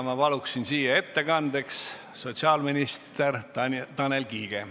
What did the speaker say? Ma palun siia ettekandeks sotsiaalminister Tanel Kiige.